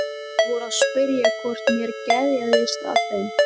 Þeir voru að spyrja hvort mér geðjaðist að þeim.